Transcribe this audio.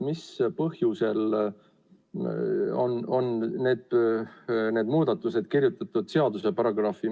Mis põhjusel on need muudatused kirjutatud seaduse paragrahvi?